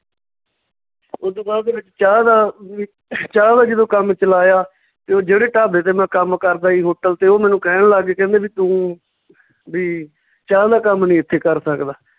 ਓਦੂ ਬਾਅਦ ਦੇ ਵਿੱਚ ਚਾਹ ਦਾ ਵੀ ਚਾਹ ਦਾ ਜਦੋਂ ਕੰਮ ਚਲਾਇਆ ਤੇ ਜਿਹੜੇ ਢਾਬੇ ਤੇ ਮੈਂ ਕੰਮ ਕਰਦਾ ਸੀ hotel ਤੇ ਉਹ ਮੈਨੂੰ ਕਹਿਣ ਲੱਗ ਗਏ ਕਹਿੰਦੇ ਵੀ ਤੂੰ ਵੀ ਚਾਹ ਦਾ ਕੰਮ ਨੀ ਏਥੇ ਕਰ ਸਕਦਾ